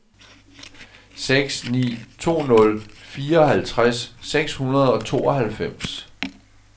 seks ni to nul fireoghalvtreds seks hundrede og tooghalvfems